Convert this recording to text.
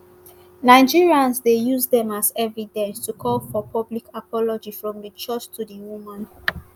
nigerians dey use dem as evidence to call for public apology from di church to di woman